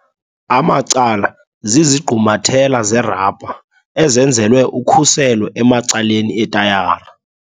Amacala - zizigqumathela zerabha ezenzelwe ukhuselo emacaleni etayara.